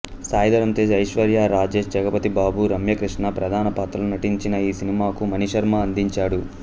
సాయి ధరమ్ తేజ్ ఐశ్వర్య రాజేష్ జగపతిబాబు రమ్యకృష్ణ ప్రధాన పాత్రల్లో నటించిన ఈ సినిమాకు మణిశర్మ అందించాడు